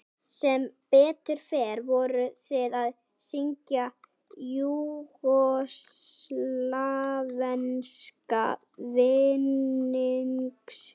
Sem betur fer vorum við að syngja júgóslavneska vinnings